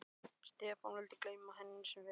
Stefán vildi gleyma henni sem fyrst.